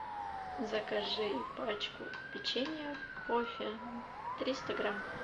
закажи пачку печенья кофе триста грамм